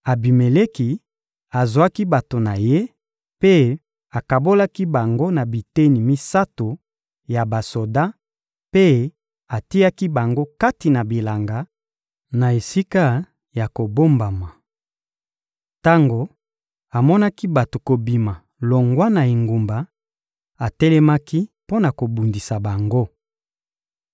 Abimeleki azwaki bato na ye mpe akabolaki bango na biteni misato ya basoda, mpe atiaki bango kati na bilanga, na esika ya kobombama. Tango amonaki bato kobima longwa na engumba, atelemaki mpo na kobundisa bango.